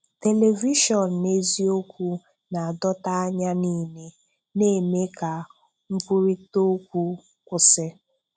Tèlèvíshọ̀n̄ n’èzíọ́kwū na-adọ̀tà ànyà nìilé, na-eme ka nkwúrị̀tà òkwú kwụsị́.